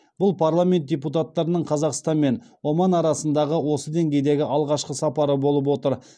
бұл парламент депутаттарының қазақстан мен оман арасындағы осы деңгейдегі алғашқы сапары болып отыр